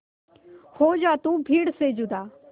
हो जा तू भीड़ से जुदा